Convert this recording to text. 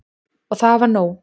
Og það var nóg.